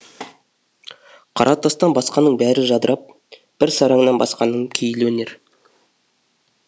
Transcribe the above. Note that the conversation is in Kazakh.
қара тастан басқаның бәрі жадырап бір сараңнан басқаның пейілі енер